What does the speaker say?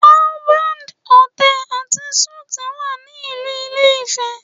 Harvard Hotel and suite wà ní ìlú ilé-ifẹ̀